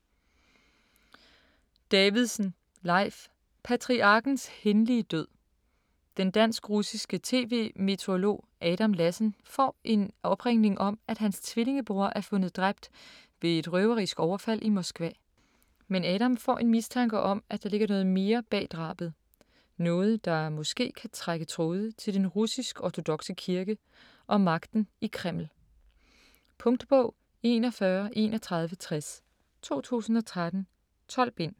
Davidsen, Leif: Patriarkens hændelige død Den dansk-russiske tv-meteorolog Adam Lassen får en opringning om, at hans tvillingebror er fundet dræbt ved et røverisk overfald i Moskva. Men Adam får en mistanke om, at der ligger mere noget bag drabet. Noget, der måske kan trække tråde til den russisk ortodokse kirke og magten i Kreml. Punktbog 413160 2013. 12 bind.